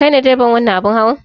Kai ne direban wannan abin hawa?